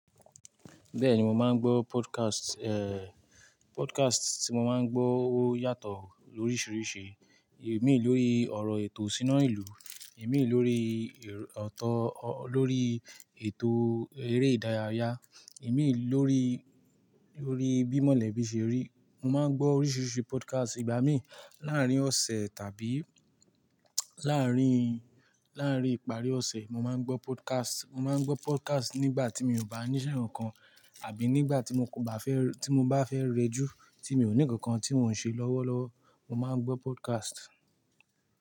Bẹ́ẹ̀ni mo máa ń gbọ́ podcast, eh, podcast tí mo máa ń gbọ́ ó yàtọ̀ lóríṣiríṣi. Èmi lórí ọ̀rọ̀ ètò sínú ìlú, èmi lórí ọ̀tọ̀, lórí ètò eré ìdárayá, èmi lórí, lórí bímọ̀lẹ̀ bí ṣe rí. Mo máa ń gbọ́ oríṣiríṣi podcast. Ìgbà mí láàárín ọ̀sẹ̀ tàbí láàárín, láàárín ìparí ọ̀sẹ̀ mo máa ń gbọ́ podcast. Mo máa ń gbọ́ podcast nígbà tí mi ò bá níṣe nǹkan àbí nígbà tí mo bá fẹ́, tí mo bá fẹ́ rejú tí mi ò ní nǹkan tí mò ń ṣe lọ́wọ́lọ́wọ́, mo máa ń gbọ́ podcast.